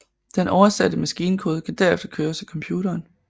Den oversatte maskinkode kan derefter køres af computeren